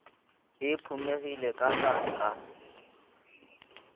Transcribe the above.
e phumegile ka ba ka